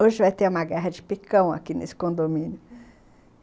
Hoje vai ter uma guerra de picão aqui nesse condomínio.